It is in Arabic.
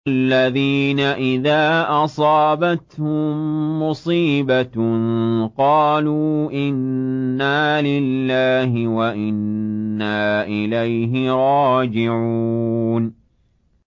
الَّذِينَ إِذَا أَصَابَتْهُم مُّصِيبَةٌ قَالُوا إِنَّا لِلَّهِ وَإِنَّا إِلَيْهِ رَاجِعُونَ